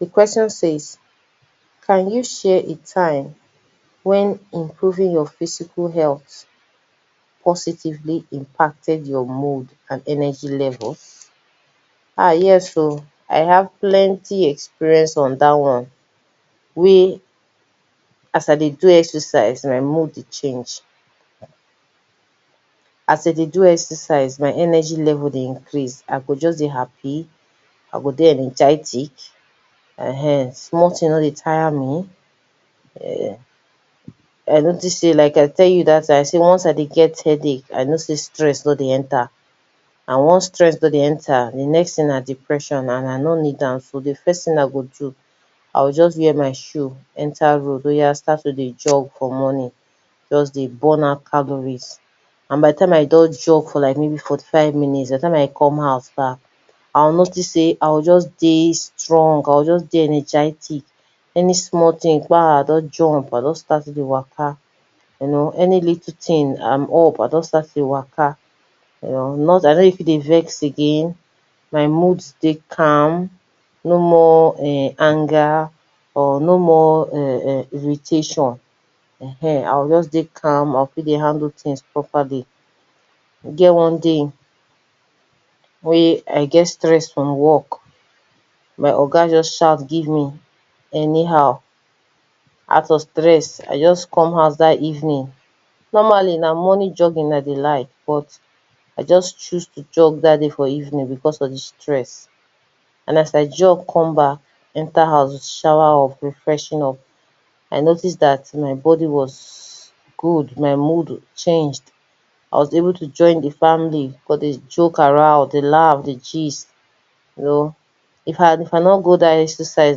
Di question says can you share a time when improving your physical health positively imparted your mood and energy level? Ah yes oh, I have plenty experience on dat one, wey as I dey do exercise my mood dey change, as I dey do exercise my energy level dey increase, I go just dey happy, I go dey energetic ehen, small thing nor dey tire me[um], I notice sey like I tell you dat time, once I dey get headache, I know sey stress don dey enter, and once stress don dey enter, di next thing na depression and I nor need am. Di first I go do, I go just wear my shoe enter road and start to dey jog for morning, just dey burn out calories, and by di time I don jog for like maybe forty five minutes, by di time I come house bah, I notice sey I go just dey strong I go just dey energetic, any small thing kpah, I don jump I don start to dey waka, you know any little thing am up I don start to dey waka, I nor dey fit dey vex again, my mood dey calm, no more anger, or no more [urn] irritation, ehen I go just dey calm I go fit dey handle things properly, e get one day wey I get stress from work, my oga just shout give me anyhow, out of stress I just come house dat evening, normally na morning jogging I dey like but I just choose to jog for evening because of di stress, and as I jog comeback, enter house, shower up, refreshing up, I noticed dat my body was good, my mood was changed, I was able to join di family come dey joke around, dey laugh, dey gist, if I if I nor go dat exercise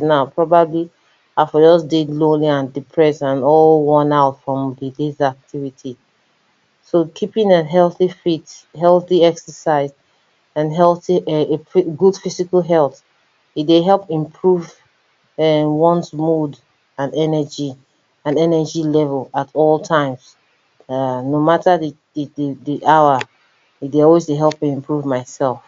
na, probably I for just dey lonely and depressed and all worn out from di days activity, so keeping an healthy fit, healthy exercise and healthy good physical health, e dey help improve [urn] ones mood and energy and energy level at all times, [urn] no matter di di di di hour e dey always dey help to improve myself.